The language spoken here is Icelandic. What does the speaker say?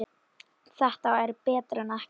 Þetta er betra en ekkert